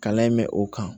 Kalan in mɛ o kan